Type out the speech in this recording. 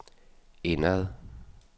indad